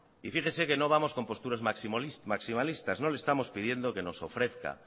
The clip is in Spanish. y fíjese que no vamos con posturas maximalistas no le estamos pidiendo que nos ofrezca